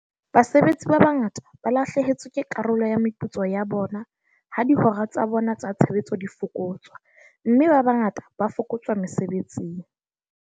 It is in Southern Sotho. Basebetsi ba bangata ba lahlehetswe ke karolo ya meputso ya bona ha dihora tsa bona tsa tshebetso di fokotswa, mme ba bangata ba fokotswa mesebetsing.